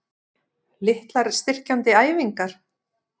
Litlar styrkjandi æfingar?